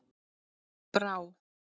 Brá